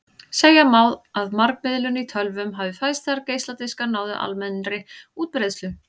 Segja má að margmiðlun í tölvum hafi fæðst þegar geisladiskar náðu almennri útbreiðslu.